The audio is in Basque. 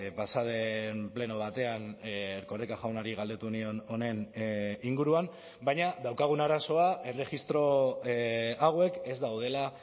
pasa den pleno batean erkoreka jaunari galdetu nion honen inguruan baina daukagun arazoa erregistro hauek ez daudela